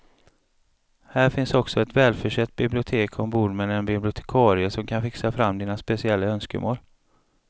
Här finns också ett välförsett bibliotek ombord med en bibliotekarie som kan fixa fram dina speciella önskemål.